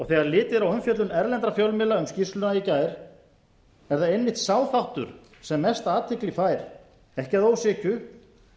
þegar litið er á umfjöllun erlendra fjölmiðla um skýrsluna í gær er það einmitt sá þáttur sem mesta athygli fær ekki að ósekju